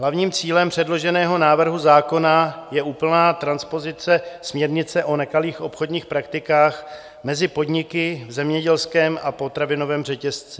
Hlavním cílem předloženého návrhu zákona je úplná transpozice směrnice o nekalých obchodních praktikách mezi podniky v zemědělském a potravinovém řetězci.